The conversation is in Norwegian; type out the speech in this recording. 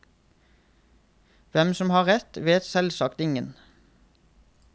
Hvem som har rett, vet selvsagt ingen.